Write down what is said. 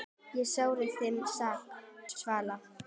Ég sárt þín sakna, Svala.